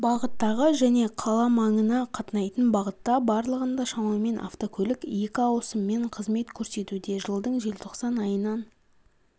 бағыттағы және қаламаңына қатынайтын бағытта барлығында шамамен автокөлік екі ауысыммен қызмет көрсетуде жылдың желтоқсан айынан